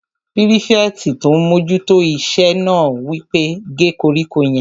Pírífẹ̀tì tó n mójú tó iṣẹ́ náà wí pé "gé koríko yẹn!"